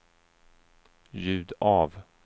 ljud av